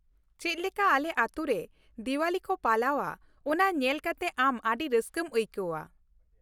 ᱪᱮᱫᱞᱮᱠᱟ ᱟᱞᱮ ᱟᱹᱛᱩ ᱨᱮ ᱫᱤᱣᱟᱞᱤ ᱠᱚ ᱯᱟᱞᱟᱣᱼᱟ ᱚᱱᱟ ᱧᱮᱞ ᱠᱟᱛᱮ ᱟᱢ ᱟᱹᱰᱤ ᱨᱟᱹᱥᱠᱟᱹᱢ ᱟᱹᱭᱠᱟᱹᱣᱼᱟ ᱾